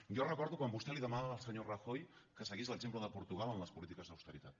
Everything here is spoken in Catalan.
jo recordo quan vostè li demanava al senyor rajoy que seguís l’exemple de portugal en les polítiques d’austeritat